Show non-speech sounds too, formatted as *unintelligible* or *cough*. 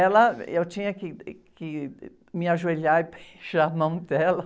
Ela, e eu tinha que, *unintelligible* que me ajoelhar e beijar a mão dela.